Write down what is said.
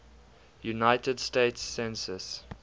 united states census